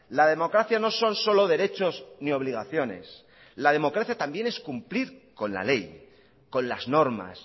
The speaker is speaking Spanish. la democracia no son solo derechos ni obligaciones la democracia también es cumplir con la ley con las normas